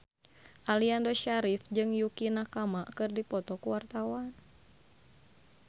Aliando Syarif jeung Yukie Nakama keur dipoto ku wartawan